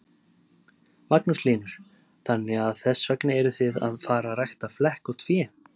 Magnús Hlynur: Þannig að þess vegna eruð þið að fara rækta flekkótt fé?